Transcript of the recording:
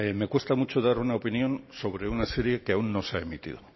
me cuesta mucho dar una opinión sobre una serie que aún no se ha emitido